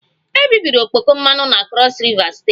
Ebibiri okpoko mmanụ na Crọs Riva steeti